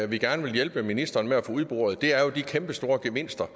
vi gerne vil hjælpe ministeren med at få udboret er jo de kæmpestore gevinster